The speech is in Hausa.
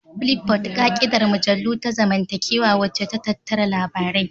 Flipboard, ƙa'idar mujallu ta zamantakewa wacce ta tattara labarai.